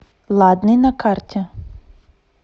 ладный на карте